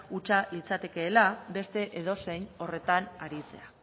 hutsa litzatekela beste edozein horretan aritzea